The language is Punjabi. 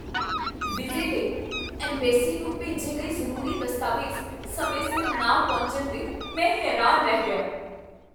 ਵੀਜ਼ੇ ਲਈ ਐਂਮਬੈਸੀ ਨੂੰ ਭੇਜੇ ਗਏ ਜ਼ਰੂਰੀ ਦਸਤਾਵੇਜ਼ ਸਮੇਂ ਸਿਰ ਨਾ ਪਹੁੰਚਣ 'ਤੇ ਮੈਂ ਹੈਰਾਨ ਰਹਿ ਗਿਆ।